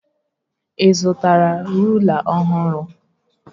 Ị zụtara rụla ọhụrụ?